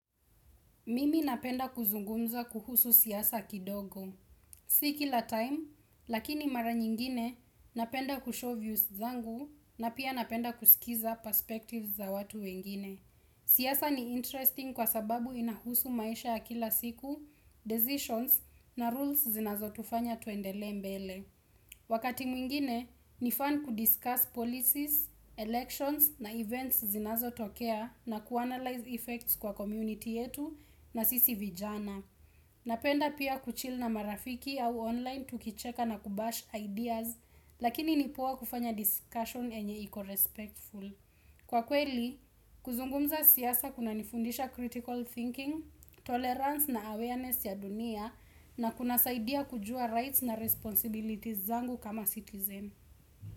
Mimi napenda kuzungumza kuhusu siasa kidogo. Si kila time, lakini mara nyingine napenda kushow views zangu na pia napenda kusikiliza perspectives za watu wengine. Siasa ni interesting kwa sababu inahusu maisha ya kila siku, decisions na rules zinazo tufanya tuendelee mbele. Wakati mwingine, nifan kudiscuss policies, elections na events zinazo tokea na kuanalyze effects kwa community yetu na sisi vijana. Napenda pia kuchil na marafiki au online tukicheka na kubash ideas, lakini nipoa kufanya discussion enye iko respectful. Kwa kweli, kuzungumza siasa kuna nifundisha critical thinking, tolerance na awareness ya dunia na kuna saidia kujua rights na responsibilities zangu kama citizen.